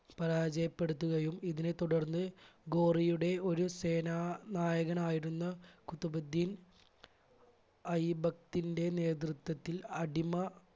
പരാജയപ്പെടുത്തുകയും ഇതിനെ തുടർന്ന് ഗോറിയുടെ ഒരു സേനാ നായകനായിരുന്ന കുത്തബുദ്ധീൻ അയുബത്തിന്റെ നേതൃത്വത്തിൽ അടിമ